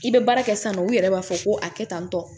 I bɛ baara kɛ sisan nɔ u yɛrɛ b'a fɔ ko a kɛ tantɔ